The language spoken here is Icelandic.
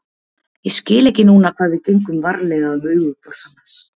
Ég skil ekki núna hvað við gengum varlega um augu hvors annars